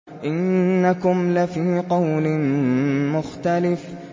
إِنَّكُمْ لَفِي قَوْلٍ مُّخْتَلِفٍ